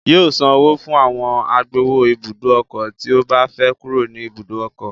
Yóò san owó fún àwọn agbowó ibùdó ọkọ̀ tí ó bá fẹ́ kúrò ní ibùdó ọkọ̀